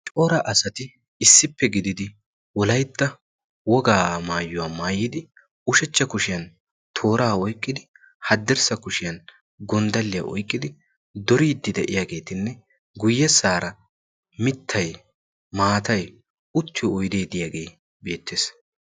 Cora asati issippe gididi wolaytta wogaa maayuwaa maayidi ushachcha kushiyan tooraa oyqqidi haddirssa kushiyan gonddalliyaa oiyqidi doriiddi de'iyaageetinne guyyessaara mittay maatay uttiyo oideediyaagee beettees.